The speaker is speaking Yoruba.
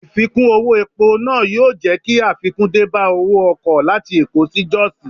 Ìfikún owó epo náà yóò jẹ́ kí àfikún dé bá owó ọkọ̀ láti Èkó sí Jos.